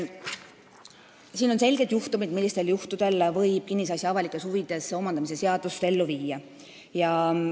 Siin on selgelt kirjas, millistel juhtudel võib kinnisasja avalikes huvides omandamise seadust ellu viia.